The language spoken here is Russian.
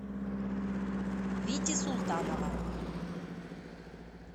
вити султанова